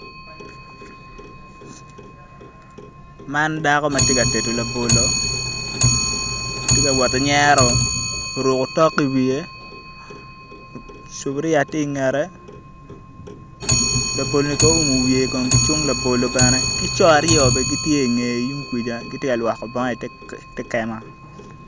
Man dako ma tye ka tedo labolo tye ka woti nyero oruko otok i wiye cuburiya tye i ngette laboloni kong oumo wiye ki cung labolo bene ki co aryo bene gitye i ngeye tung kuja gitye ka lwoko bongo i te kema